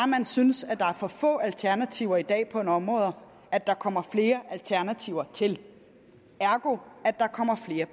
man synes at der er for få alternativer i dag på nogle områder at der kommer flere alternativer til ergo at der kommer flere